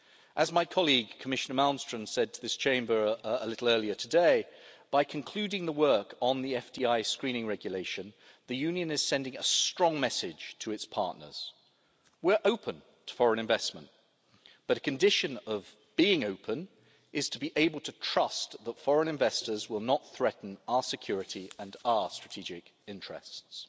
As my colleague Commissioner Malmström said to this Chamber a little earlier today, by concluding the work on the FDI screening regulation, the Union is sending a strong message to its partners. We are open to foreign investment, but a condition of being open is to be able to trust that foreign investors will not threaten our security and our strategic interests.